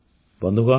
ବନ୍ଧୁଗଣ